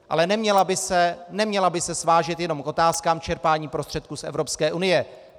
Ale neměla by se svážet jenom k otázkám čerpání prostředků z Evropské unie.